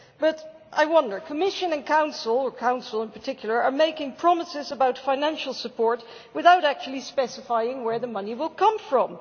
But I wonder the Commission, and in particular the Council, are making promises about financial support without actually specifying where the money will come from.